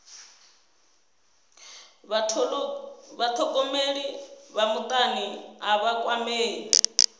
vhathogomeli vha mutani a vha kwamei